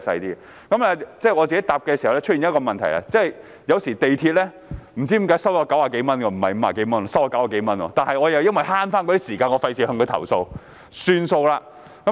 另外，我在使用時也發現一個問題，也就是有時港鐵公司會收取我90多元而非50多元，但由於我要節省時間，所以沒有作出投訴。